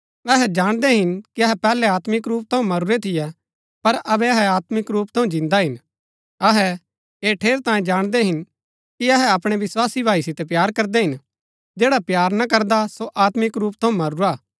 अहै जाणदै हिन कि अहै पैहलै आत्मिक रूप थऊँ मरूरै थियै पर अबै अहै आत्मिक रूप थऊँ जिन्दा हिन अहै ऐह ठेरैतांये जाणदै हिन कि अहै अपणै विस्वासी भाई सितै प्‍यार करदै हिन जैडा प्‍यार ना करदा सो आत्मिक रूप थऊँ मरूरा हा